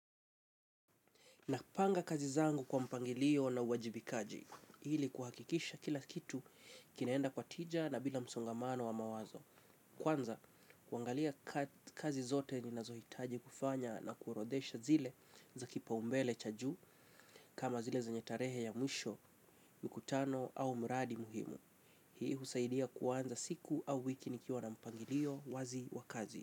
Napanga kazi zangu kwa mpangilio na uwajibikaji, hili kuhakikisha kila kitu kinaenda kwa tija na bila msongamano wa mawazo. Kwanza, kwangalia kazi zote ninazoitaji kufanya na kuorodesha zile za kipa umbele chaju, kama zile zenye tarehe ya mwisho, mkutano au mraadi muhimu. Hii husaidia kwanza siku au wiki nikiwa na mpangilio wazi wa kazi.